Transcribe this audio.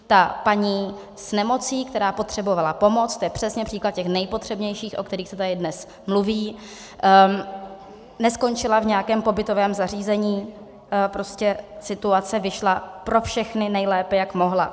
Ta paní s nemocí, která potřebovala pomoc - to je přesně příklad těch nejpotřebnějších, o kterých se tady dnes mluví - neskončila v nějakém pobytovém zařízení, prostě situace vyšla pro všechny nejlépe, jak mohla.